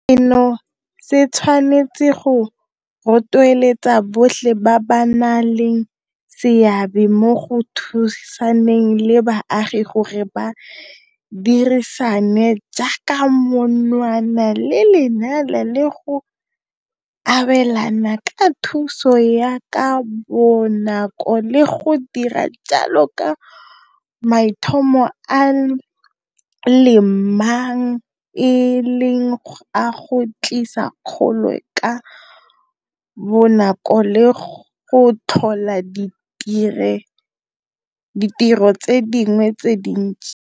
Seno se tshwanetse go rotloetsa botlhe ba ba nang le seabe mo go thusaneng le baagi gore ba dirisane jaaka monwana le lenala le go abelana ka thuso ya ka bonako le go dira jalo ka maitlhomo a le mang e leng a go tlisa kgolo ka bonako le go tlhola ditiro tse dingwe tse dintsi.